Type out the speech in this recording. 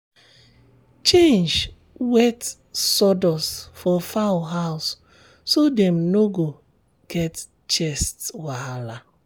change wet sawdust for fowl house so dem no go get chest wahala.